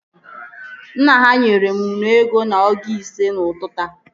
Nna ha nyere m nnu ego na ọgụ ise n'ụtụtụ a